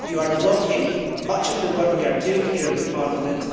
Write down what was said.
You are blocking much of the work we are doing here in Parliament.